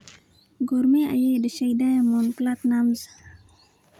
Goorma ayay dhashay Diamond Platnumz?